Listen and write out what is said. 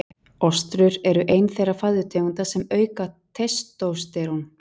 Ostrur er ein þeirra fæðutegunda sem auka testósterón.